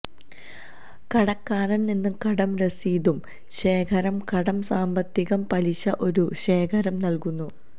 കടക്കാരൻ നിന്ന് കടം രസീതും ശേഖരം കടം സാമ്പത്തികം പലിശ ഒരു ശേഖരം നൽകുന്നു